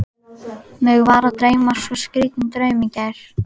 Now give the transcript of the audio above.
Mig var að dreyma svo skrýtinn draum í gær.